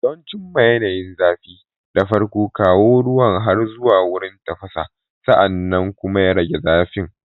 Don cimma yanayin zafi, da farko, kawo ruwan har zuwa wurin tafasa, sa'an nan kuma rage zafi.